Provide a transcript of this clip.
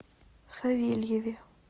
савельеве